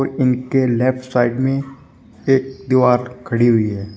इनके left side में एक दीवार खड़ी हुई है।